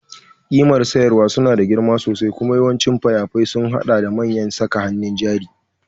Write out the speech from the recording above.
Ƙimar samarwa suna da girma sosai kuma yawancin fayafai sun haɗa da manyan saka hannun jari.